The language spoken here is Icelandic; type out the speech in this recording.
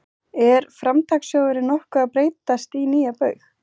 Er Framtakssjóðurinn nokkuð að breytast í nýja Baug?